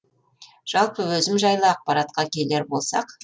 жалпы өзім жайлы ақпаратқа келер болсақ